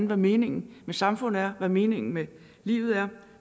hvad meningen med samfundet er hvad meningen med livet er